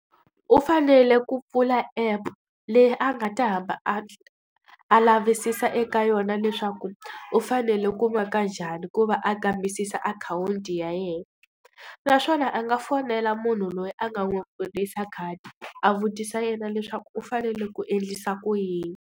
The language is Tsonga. U fanele ku pfula app leyi a nga ta hamba a a lavisisa eka yona leswaku u fanele ku maka njhani ku va a kambisisa akhawunti ya yena. Naswona a nga fonela munhu loyi a nga n'wi pfurisa khadi, a vutisa yena leswaku u fanele ku endlisa ku yini.